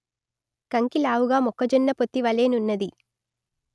కంకిలావుగా మొక్కజొన్న పొత్తి వలె నున్నది